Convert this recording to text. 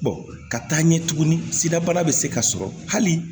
ka taa ɲɛ tugunni sidabana bɛ se ka sɔrɔ hali